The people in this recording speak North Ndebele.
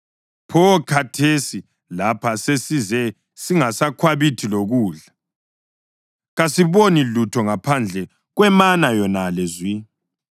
Pho khathesi lapha sesize singasakhwabithi lokudla; kasiboni lutho ngaphandle kwemana yonale zwi!”